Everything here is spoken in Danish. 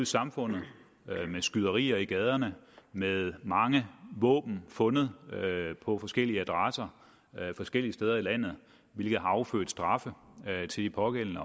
samfundet med skyderier i gaderne med mange våben fundet på forskellige adresser forskellige steder i landet hvilket har affødt straffe til de pågældende